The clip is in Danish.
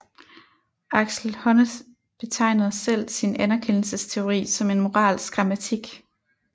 Axel Honneth betegner selv sin anerkendelsesteori som en moralsk grammatik